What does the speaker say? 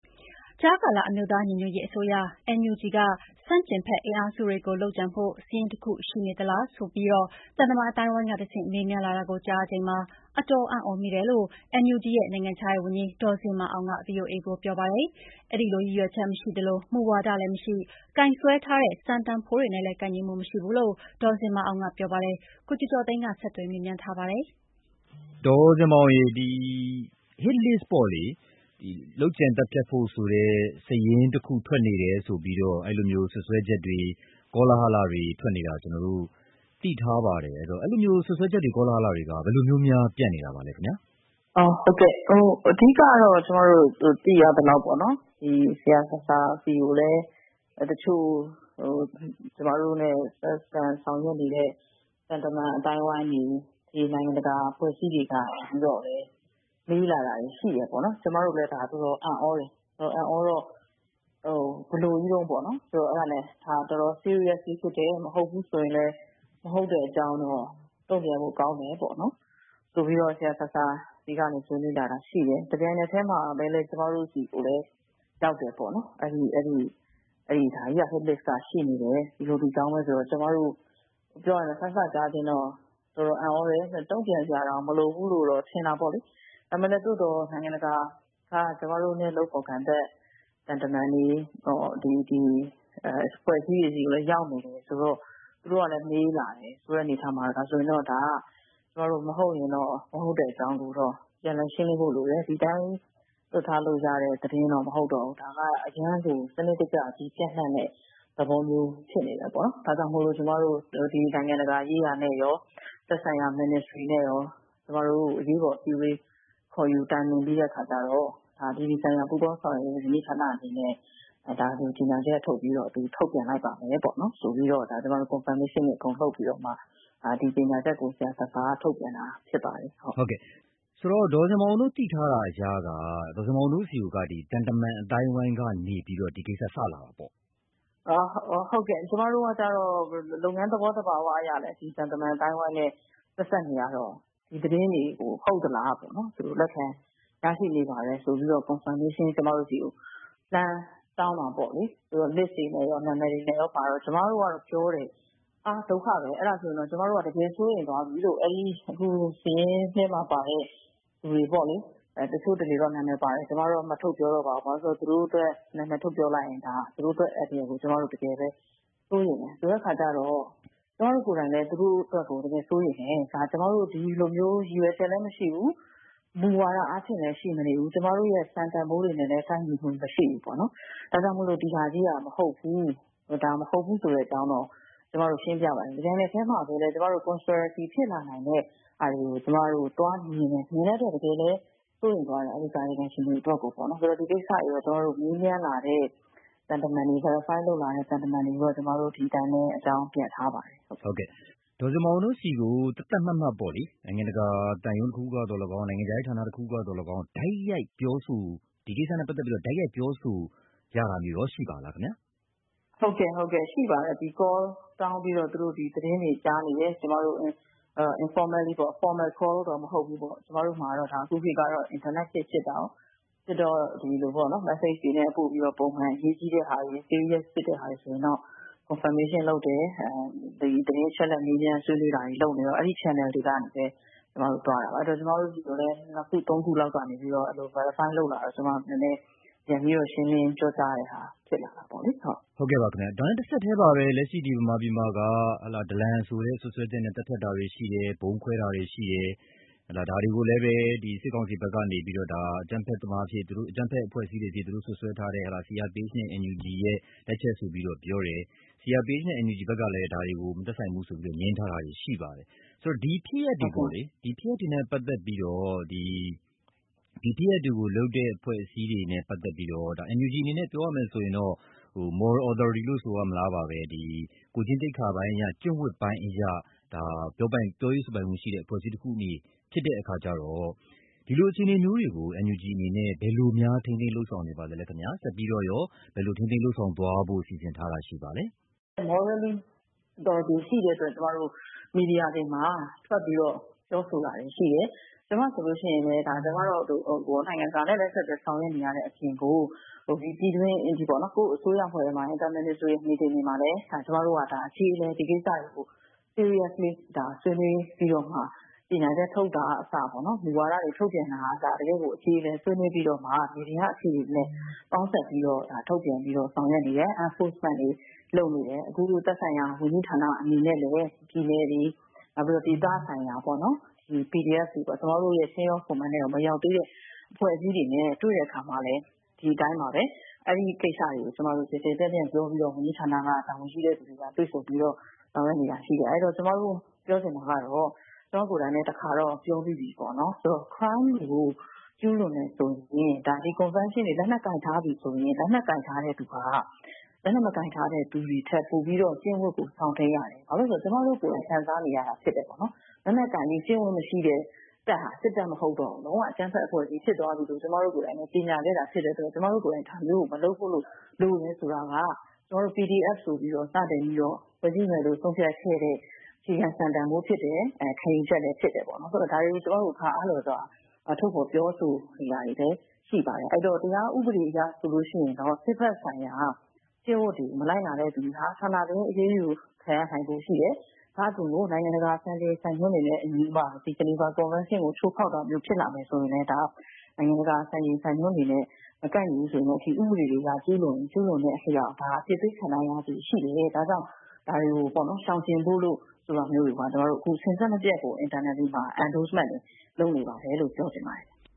ကြားကာလ အမျိုးသားညီညွတ်ရေးအစိုးရ က ဆန့်ကျင်ဘက်အင်အားစုတွေကို လုပ်ကြံဖို့ စာရင်းတခု ရှိနေသလားဆိုပြီး သံတမန် အသိုင်းအဝိုင်းကတဆင့် မေးမြန်းလာတာကို ကြားရချိန်မှာ အတော်အံ့သြမိတယ်လို့ NUG ရဲ့ နိုင်ငံခြားရေးဝန်ကြီး ဒေါ်ဇင်မာအောင်က ဗွီအိုအေကို ပြောပါတယ်။ အဲဒီလိုရည်ရွယ်ချက် မရှိသလို မူဝါဒလည်းမရှိ၊ ကိုင်စွဲထားတဲ့ စံတန်ဖိုးတွေနဲ့လည်း ကိုက်ညီမှုမရှိဘူးလို့ ဒေါ်ဇင်မာအောင်က ပြောပါတယ်။ ကိုကျော်ကျော်သိန်းက ဆက်သွယ်မေးမြန်းထားပါတယ်။ ဒေါ်ဇင်မာအောင်ရေ ဒီ Hit List ပေါ့လေ၊ လုပ်ကြံသတ်ဖြတ်ဖို့ဆိုတဲ့ စာရင်းတခု ထွက်နေတယ်ဆိုပြီးတော့ စွပ်စွဲချက်တွေ၊ ကောလာဟလတွေ ထွက်နေတာ ကျနော်တို့ သိထားပါတယ်။ အဲဒီလို စွပ်စွဲချက်တွေ၊ ကောလာဟလတွေက ဘယ်လိုမျိုးများ ပြန့်နေတာပါလဲ။ “အဓိက ကျမတို့ သိရသလောက်တော့ ဆရာဆာဆာဆီကိုလည်း တချို့ ကျမတို့နဲ့ ဆက်ဆံ ဆောင်ရွက်နေတဲ့ သံတမန်အသိုင်းအဝိုင်းတွေ၊ နိုင်ငံတကာ အဖွဲ့အစည်းတွေကနေပြီး မေးလာတာတွေ ရှိတယ်။ ကျမတို့လည်း ဒါ တော်တော်အံ့သြတယ်။ တော်တော်အံ့သြတော့ ဘယ်လိုကြီးတုန်းပေါ့နော်၊ အဲဒါနဲ့ ဒါ တော်တော် Serious ဖြစ်တယ်၊ မဟုတ်ဘူးဆိုရင်လည်း မဟုတ်တဲ့အကြောင်းတော့ တုံ့ပြန်ဖို့ ကောင်းတယ်ပေါ့ ဆိုပြီးတော့ ဆရာဆာဆာဆီကနေ ဆွေးနွေးလာတာ ရှိတယ်။ တပြိုင်နက်တည်းမှာပဲ ကျမတို့ဆီကိုလည်း ရောက်တယ်ပေါ့။ ဒါကြီးက Hit List က ရှိနေတယ်၊ ဒီလို ဒီအကြောင်းပဲဆိုတော့ ကျမတို့လည်း စစကြားချင်းတော့ တော်တော်အံ့သြတယ်။ တုံ့ပြန်စရာတောင် မလိုဘူးလို့ ထင်တာပေါ့လေ။ သို့သော်လည်း နိုင်ငံတကာက ကျမတို့နဲ့ လုပ်ဖော်ကိုင်ဘက် သံတမန်တွေ၊ အဖွဲ့အစည်းတွေဆီကိုလည်း ရောက်နေတယ်ဆိုတော့ သူတို့ကလည်း မေးလာတယ်။ ဆိုတဲ့အနေအထားမှာ ဒါဆိုရင်တော့ ကျမတို့ မဟုတ်ရင်လည်း မဟုတ်တဲ့အကြောင်းကိုတော့ ပြန်လည်ရှင်းလင်းဖို့လိုတယ်။ ဒီအတိုင်း လွှတ်ထားလို့ရတဲ့ သတင်းတော့ မဟုတ်တော့ဘူး။ ဒါက အရမ်းကို စနစ်တကျ ပျံ့နှံ့တဲ့ သဘောမျိုး ဖြစ်နေတယ်။ ဒါကြောင့်မို့ ကျမတို့ နိုင်ငံတကာရေးရာနဲ့ရော သက်ဆိုင်ရာ Ministry နဲ့ရော အရေးပေါ်အစည်းအဝေး ခေါ်ယူတိုင်ပင်ပြီးတော့ အပြည်ပြည်ဆိုင်ရာ ပူးပေါင်းဆောင်ရွက်ရေး ဝန်ကြီးဌာနအနေနဲ့ ကြေညာချက်ထုတ်ပြီး ထုတ်ပြန်လိုက်ပါမယ်ပေါ့၊ ဆိုပြီးတော့ ကျမတို့ Confirmation တွေ အကုန်လုပ်ပြီးမှ ဒီကြေညာချက်ကို ဆရာဆာဆာက ထုတ်ပြန်တာ ဖြစ်ပါတယ်။” ဆိုတော့ ဒေါ်ဇင်မာအောင်တို့ သိထားတာအရက ဒေါ်ဇင်မာအောင်တို့ဆီကို သံတမန်အသိုင်းအဝိုင်းကနေပြီးတော့ ဒီကိစ္စ စလာတာပေါ့။ “ဟုတ်ကဲ့၊ ကျမတို့ကတော့ လုပ်ငန်းသဘောသဘာဝ အရလည်း ဒီသံတမန်အသိုင်းအဝိုင်းနဲ့ ဆက်စပ်နေရတော့ ဒီသတင်းတွေကို ဟုတ်သလားပေါ့၊ သူတို့လက်ထဲ ရရှိနေပါတယ်ဆိုပြီး ကျမတို့ဆီကို Confirmation လှမ်းတောင်းတာပေါ့လေ။ List တွေနဲ့ရော နာမည်တွေနဲ့ရောပါတော့ ကျမတို့ကတော့ ပြောတယ်၊ ဟာ ဒုက္ခပဲ၊ အဲဒါဆိုရင်တော့ ကျမတို့ တကယ်စိုးရိမ်သွားပြီလို့၊ အဲဒီ အခုစာရင်းထဲမှာပါတဲ့ လူတွေပေါ့လေ။ တချို့တလေတော့ နာမည်ပါတယ်၊ ကျမတော့ ထုတ်မပြောတော့ပါဘူး၊ ဘာဖြစ်လို့လဲဆိုတော့ နာမည်ထုတ်ပြောလိုက်ရင် သူတို့အတွက် အန္တရာယ်ကို ကျမတို့ တကယ်ပဲ စိုးရိမ်တယ်။ ကျမတို့ကိုယ်တိုင်လည်း သူတို့အတွက်ကို တကယ်စိုးရိမ်တယ်။ ကျမတို့ ဒီလိုမျိုး ရည်ရွယ်ချက်လည်း မရှိဘူး၊ မူဝါဒအားဖြင့်လည်း ရှိမနေဘူး၊ ကျမတို့ရဲ့ စံတန်ဖိုးတွေနဲ့လည်း ကိုက်ညီမှု မရှိဘူးပေါ့။ ဒါကြောင့်မို့ ဒီဟာကြီးက မဟုတ်ဘူး။ ဒါ မဟုတ်ဘူးဆိုတဲ့အကြောင်းတော့ ကျမတို့ ရှင်းပြပါတယ်။ တပြိုင်နက်တည်းမှာလည်း ကျမတို့ Conspiracy ဖြစ်လာနိုင်တဲ့ဟာတွေကို ကျမတို့ သွားမြင်တယ်။ မြင်တဲ့အတွက် တကယ်လည်း စိုးရိမ်သွားတယ်၊ အဲဒီကာယကံရှင်တွေအတွက်ပေါ့နော်။ ဒီကိစ္စတွေ မေးမြန်းလာတဲ့ သံတမန်တွေ၊ Verify လုပ်လာတဲ့ သံတမန်တွေကိုတော့ ကျမတို့ ဒီအတိုင်းပဲ အကြောင်းပြန်ထားပါတယ်။” ဒေါ်ဇင်မာအောင်တို့ဆီကို သတ်သတ်မှတ်မှတ်ပေါ့လေ၊ နိုင်ငံတကာ သံရုံးတခုခုကသော်လည်းကောင်း၊ နိုင်ငံခြားရေးဌာန တခုခုကသော်လည်းကောင်း၊ ဒီကိစ္စနဲ့ပတ်သက်ပြီး တိုက်ရိုက်ပြောဆိုရတာမျိုးရော ရှိပါသလား။ “ဟုတ်ကဲ့ ရှိပါတယ်။ Call တောင်းပြီးတော့ ဒီသတင်းတွေ ကြားနေတယ်၊ ကျမတို့ Informally ပေါ့၊ Formal Call တော့ မဟုတ်ဘူးပေါ့။ ကျမတို့မှာတော့ အခုခေတ်က အင်တာနက်ခေတ် ဖြစ်တာကိုး။ ဖြစ်တော့ မက်ဆေ့ချ်တွေနဲ့ ပို့ပြီးတော့ ပုံမှန် အရေးကြီးတဲ့ဟာတွေ၊ Serious ဖြစ်တဲ့ဟာတွေဆိုရင်တော့ Confirmation လုပ်တယ်။ သတင်းအချက်အလက် မေးမြန်းဆွေးနွေးတာတွေ လုပ်ပြီးတော့ အဲဒီ Channel တွေကနေပဲ ကျမတို့ သွားတာပါ။ အဲဒီတော့ ကျမတို့ဆီကိုလည်း နှစ်ခု သုံးခုလောက်ကနေပြီးတော့ Verify လုပ်လာတော့ ကျမတို့လည်း ပြန်ပြီးတော့ ရှင်းလင်းပြောကြားရတဲ့ဟာ ဖြစ်လာတာပေါ့။” တဆက်တည်းမှာပဲ လက်ရှိ မြန်မာပြည်မှာက ဒလန်ဆိုတဲ့ စွပ်စွဲချက်နဲ့ သတ်ဖြတ်တာတွေ ရှိတယ်၊ ဗုံးခွဲတာတွေ ရှိတယ်။ ဒါတွေကိုလည်းပဲ စစ်ကောင်စီဘက်ကနေ အကြမ်းဖက်အဖွဲ့အစည်းတွေအဖြစ် သူတို့စွပ်စွဲထားတဲ့ CRPH နဲ့ NUG ရဲ့လက်ချက်ဆိုပြီးတော့ ပြောတယ်။ CRPH နဲ့ NUG ဘက်ကလည်း ဒါတွေကို မသက်ဆိုင်ဘူးဆိုပြီးတော့ ငြင်းထားတာ ရှိပါတယ်။ ဒီဖြစ်ရပ်တွေနဲ့ ပတ်သက်ပြီးတော့၊ ဒီဖြစ်ရပ်တွေကိုလုပ်တဲ့ အဖွဲ့အစည်းတွေနဲ့ ပတ်သက်ပြီးတော့ NUG အနေနဲ့ ပြောရမယ်ဆိုရင်တော့ Moral Authority လို့ ဆိုရမလားပါပဲ၊ ကိုယ်ကျင့်သိက္ခာပိုင်းအရ၊ ကျင့်ဝတ်ပိုင်းအရ ပြောရေးဆိုပိုင်ခွင့်ရှိတဲ့ အဖွဲ့အစည်းတခု ဖြစ်တဲ့အခါကြတော့ ဒီလိုအခြေအမျေိုးတွေကို NUG အနေနဲ့ ဘယ်လိုများ ထိန်းသိမ်းလုပ်ဆောင်နေပါသလဲ၊ ဆက်ပြီးတော့ရော ဘယ်လိုထိန်းသိမ်းလုပ်ဆောင်သွားဖို့ စီစဉ်ထားတာ ရှိပါသလဲ။ “Morally Authority ရှိတဲ့အတွက် ကျမတို့ မီဒီယာတွေမှာ ထွက်ပြီးတော့ ပြောဆိုတာတွေ ရှိတယ်။ ကျမဆိုရင်လည်း နိုင်ငံတကာနဲ့ ဆက်သွယ်ဆောင်ရွက်နေရတဲ့အပြင်ကို ပြည်တွင်းပေါ့၊ ကိုယ့်အစိုးရအဖွဲ့အတွင်းမှာ Inter-Ministry Meeting တွေမှာ ကျမတို့က အကျေအလည် ဒီကိစ္စတွေကို Seriously ဆွေးနွေးပြီးတော့မှ ကြေညာချက်ထုတ်တာကအစ၊ မူဝါဒ ထုတ်ပြန်တာတွေကအစ တကယ့်ကို အကျေအလည် ဆွေးနွေးပြီးတော့မှ မြေပြင်က အခြေအနေနဲ့ ပေါင်းစပ်ပြီးတော့ ထုတ်ပြန်ပြီးတော့ ဆောင်ရွက်နေတယ်။ Enforcement တွေ လုပ်နေတယ်။ အခု သက်ဆိုင်ရာ ဝန်ကြီးဌာန အနေနဲ့လည်း ပြည်နယ်တွေ၊ ဒေသဆိုင်ရာ PDF တွေပေါ့၊ ကျမတို့ရဲ့ Chain of Command ထဲကို မရောက်သေးတဲ့ အဖွဲ့အစည်းတွေနဲ့ တွေ့တဲ့အခါမှာလည်း ဒီအတိုင်းပါပဲ။ အဲဒီကိစ္စတွေကို ကျယ်ကျယ်ပြန့်ပြန့်ပြောပြီးတော့ ဝန်ကြီးဌာနက တာဝန်ရှိတဲ့လူတွေက တွေ့ဆုံပြီးတော့ ဆောင်ရွက်နေတာရှိတယ်။ အဲဒီတော့ ကျမတို့ ပြောချင်တာကတော့၊ ကျမကိုယ်တိုင်လည်း တခါတော့ ပြောပြီးပြီပေါ့၊ Crime ကို ကျူးလွန်တယ်ဆိုရင် ဒီကွန်ဗင်းရှင်းတွေ၊ လက်နက်ကိုင်ထားပြီဆိုရင် လက်နက်ကိုင်ထားတဲ့သူဟာ လက်နက်မကိုင်ထားတဲ့သူတွေထက် ပိုပြီးတော့ ကျင့်ဝတ်ကို စောင့်ထိန်းရတယ်။ ဘာဖြစ်လို့လဲဆိုတော့ ကျမတို့ကိုယ်တိုင် ခံစားနေရတာ ဖြစ်တယ်ပေါ့။ လက်နက်ကိုင်ပြီး ကျင့်ဝတ်မရှိတဲ့တပ်ဟာ စစ်တပ်မဟုတ်တော့ဘူး။ လုံးဝ အကြမ်းဖက်အဖွဲ့အစည်း ဖြစ်သွားပြီလို့ ကျမတို့ကိုယ်တိုင်လည်း ကြေညာခဲ့တာ ဖြစ်တဲ့အတွက် ကျမတို့ကိုယ်တိုင် ဒါမျိုးကို မလုပ်ဖို့လိုတယ် ဆိုတာက ကျမတို့ PDF ဆိုပြီး စပြီးဖွဲ့စည်းမယ်လို့ ဆုံးဖြတ်ခဲ့တဲ့ အခြေခံစံတန်ဖိုးဖြစ်တယ်၊ ခံယူချက်လည်း ဖြစ်တယ်ပေါ့နော်။ ဆိုတော့ ဒါတွေကို ကျမတို့ အခါအားလျော်စွာ ထုတ်ဖော်ပြောဆိုနေတာတွေလည်း ရှိပါတယ်။ အဲဒီတော့ တရားဥပဒေအရ ဆိုရင်တော့ စစ်ဘက်ဆိုင်ရာ ကျင့်ဝတ်တွေ မလိုက်နာတဲ့လူတွေဟာ ဌာနတွင်း အရေးယူခံရနိုင်ဖို့ရှိတယ်။ ဒါ့အပြင် နိုင်ငံတကာ စံချိန်စံညွှန်းတွေနဲ့အညီ ဂျီနီဗာကွန်ဗန်းရှင်းကို ချိုးဖောက်တာမျိုး ဖြစ်လာမယ်ဆိုရင်လည်း ဒါ နိုင်ငံတကာ စံချိန်စံညွှန်းတွေနဲ့ မကိုက်ညီရင် ဥပဒေတွေအရ ကျူးလွန်ရင် ကျူးလွန်တဲ့အလျောက် အပြစ်ပေးခံရနိုင်ချေရှိတယ်။ ဒါကြောင့် ဒါတွေကို ရှောင်ကြဉ်ဖို့ဆိုတာ စဉ်ဆက်မပြတ်ကို Internally မှာ Engagement တွေလုပ်နေပါတယ်လို့ ပြောချင်ပါတယ်။”